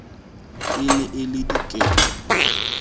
e ne e le diketo